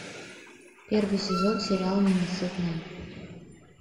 первый сезон сериал ненасытная